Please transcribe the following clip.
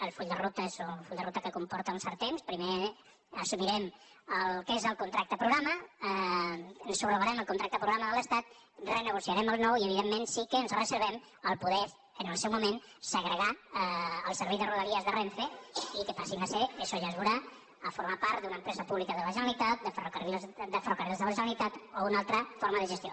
el full de ruta és un full de ruta que comporta un cert temps primer assumirem el que és el contracte progra·ma subrogarem el contracte programa de l’estat re·negociarem el nou i evidentment sí que ens reservem poder en el seu moment segregar el servei de rodalies de renfe i que passin això ja es veurà a formar part d’una empresa pública de la generalitat de ferrocar·rils de la generalitat o una altra forma de gestió